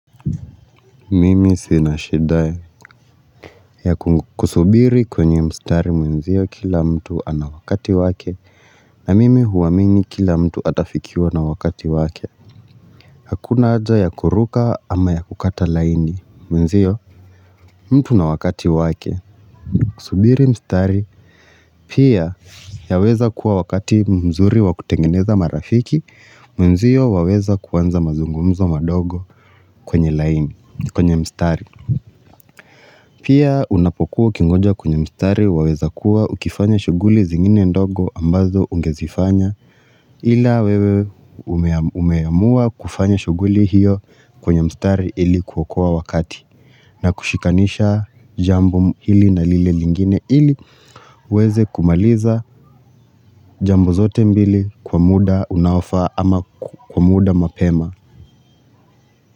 Mimi sinashida ya kusubiri kwenye mstari mwenzio kila mtu anawakati wake na mimi huamini kila mtu atafikiwa na wakati wake Hakuna aja ya kuruka ama ya kukata laini mwenzio mtu na wakati wake Kusubiri mstari pia yaweza kuwa wakati mzuri wa kutengeneza marafiki mwenzio waweza kuanza mazungumzo madogo kwenye laini, kwenye mstari Pia unapokuwa ukingoja kwenye mstari waweza kuwa ukifanya shuguli zingine ndogo ambazo ungezifanya ila wewe umeamua kufanya shuguli hiyo kwenye mstari ilikuokoa wakati na kushikanisha jambo hili na lile lingine ili uwezekumaliza jambo zote mbili kwa muda unaofaa ama kwa muda mapema.